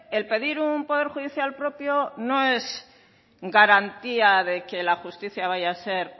el pedir un poder judicial propio no es garantía de que la justicia vaya a ser